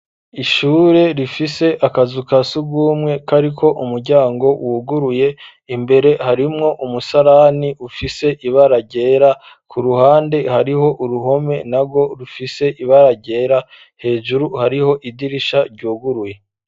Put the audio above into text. Ishure rifise akazu kasugumwe kariko umuryango wuguruye ,imbere harimwo umusarani ufise ibara ryera, ku ruhande hariho uruhome nagwo rufise ibara ryera ,hejuru hariho idirisha ryuguruye.